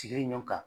Sigi ɲɔn kan